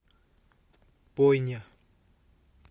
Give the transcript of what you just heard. бойня